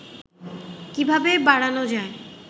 কিভাবে বাড়ানো যায়